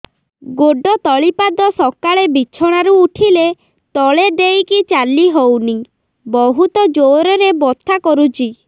ଗୋଡ ତଳି ପାଦ ସକାଳେ ବିଛଣା ରୁ ଉଠିଲେ ତଳେ ଦେଇକି ଚାଲିହଉନି ବହୁତ ଜୋର ରେ ବଥା କରୁଛି